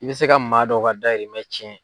I bɛ se ka maa dɔ ka dayimɛn cɛn.